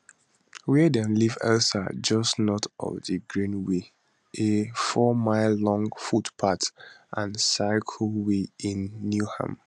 wia dem leave elsa just north of di greenway a fourmile long footpath and cycleway in newham